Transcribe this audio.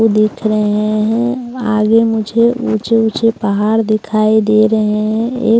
वो देख रहे हैं आगे मुझे ऊंचे ऊंचे पहाड़ दिखाई दे रहे हैं एक--